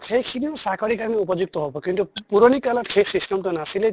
সেইখিনিও চাকৰিৰ কাৰণে উপযুক্ত হʼব কিন্তু পুৰণি কালত সেই system টো নাছিলে